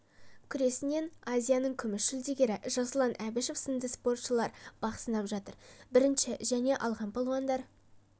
күресінен азияның күміс жүлдегері жасұлан әбішев сынды спортшылар бақ сынап жатыр бірінші және алған палуандар